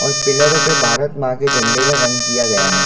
और पिलरो पे भारत माँ के झंडे का रंग किया गया हैं।